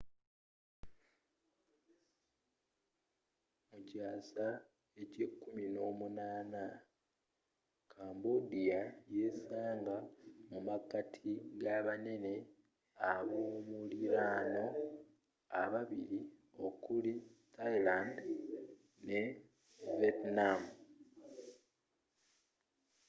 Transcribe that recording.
mu kyasa ky'ekumi n'omunana 18th cambodia yesanga mu makati g'abanene abomuliraano babili okuli thailand ne vietnam